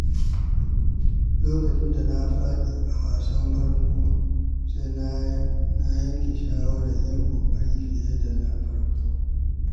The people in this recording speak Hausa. Lokacin da na faɗi a wasan farko, sai na yanke shawarar yin ƙoƙari fiye da na farko.